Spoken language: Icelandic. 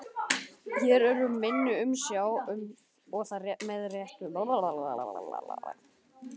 Þeir eru í minni umsjá og það með réttu.